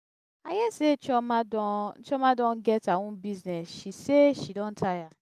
i her say chioma don chioma don get her own business she say she don tire.